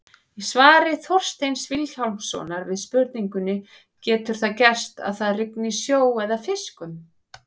Í svari Þorsteins Vilhjálmssonar við spurningunni Getur það gerst að það rigni sjó eða fiskum?